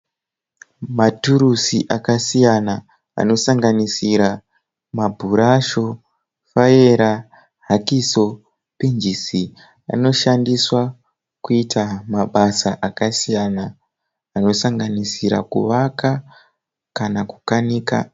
Maturusi akasiyana anosanganisira mabhurashu, faera, hakiso, pinjisi. Anoshandiswa kuita mabasa akasiyana anosanganisira kuvaka kana kukanika.